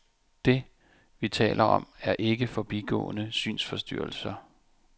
Det, vi taler om, er ikke forbigående synsforstyrrelser.